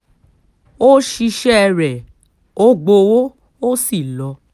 ó ṣiṣẹ́ rẹ̀ ó gbowó ó sì lọ